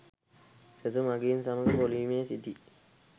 සෙසු මඟීන් සමග පෝලිමේ සිටි